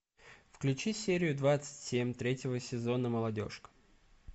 включи серию двадцать семь третьего сезона молодежка